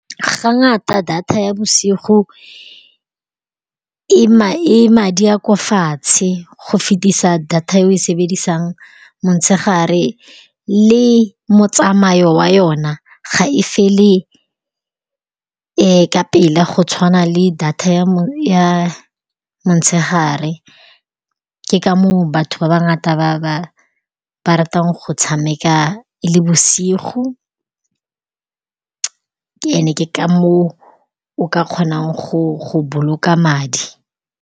Ga ngata data ya bosigo e madi a kwa fatshe go fetisa data e o e sebedisang motshegare le motsamao wa yona, ga e fele ka pela go tshwana le data ya motshegare. Ke ka moo batho ba ba ngata ba ratang go tshameka e le bosigo ene ke ka moo o ka kgonang go boloka madi.